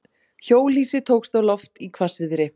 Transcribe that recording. Hjólhýsi tókst á loft í hvassviðri